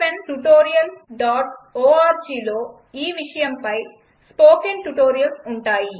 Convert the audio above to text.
httpspoken tutorialorgలో ఈవిషయంపై spoken tutorials ఉంటాయి